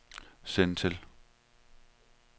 send til